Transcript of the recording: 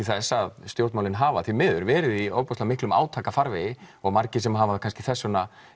þess að stjórnmálin hafa því miður verið í miklum átaka farvegi og margir sem hafa kannski þess vegna